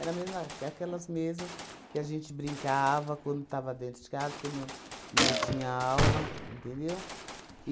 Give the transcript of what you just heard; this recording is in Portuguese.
mesma ca aquelas mesma que a gente brincava quando estava dentro de casa, quando não tinha aula, entendeu?